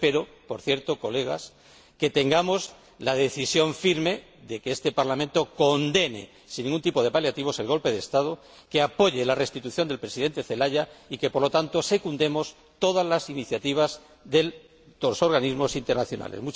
Espero, por cierto, colegas, que tengamos la decisión firme de que este Parlamento condene sin ningún tipo de paliativos el golpe de Estado y apoye la restitución del Presidente Celaya y espero que, por lo tanto, secundemos todas las iniciativas de los organismos internacionales.